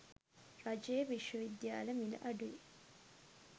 රජයේ විශ්ව විද්‍යාල මිල අඩුයි.